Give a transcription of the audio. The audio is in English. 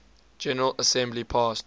general assembly passed